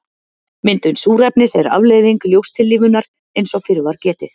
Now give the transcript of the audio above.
Myndun súrefnis er afleiðing ljóstillífunar eins og fyrr var getið.